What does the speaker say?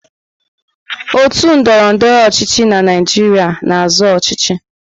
Otu ndọrọndọrọ ọchịchị na Naịjirịa na-azọ ọchịchị.